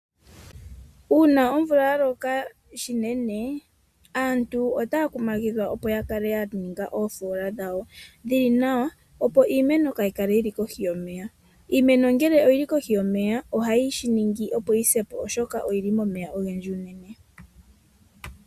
Una omvula yaloka shinene aantu ota ya kumagithwa opo ya kale ya ninga nawa oofola dhawo dhili nawa opo iimeno kayi kale yi li kohi yomeya. Iimeno ngele yi li kohi yomeya ohayi ningi yi sepo oshoka oyi li momeya ogendji unene.